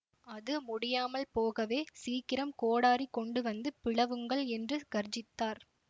அது முடியாமல் போகவே சீக்கிரம் கோடரி கொண்டு வந்து பிளவுங்கள் என்று கர்ஜித்தார்